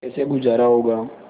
कैसे गुजारा होगा